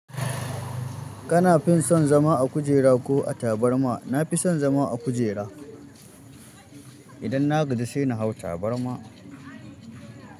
Ka na fin son zama a kujera ko a tabarma? Na fi son zama a kujera. Idan na gaji sai na hau tabarma.